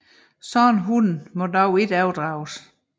Sådanne hunde må dog ikke overdrages